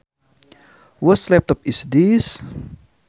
Whose laptop is this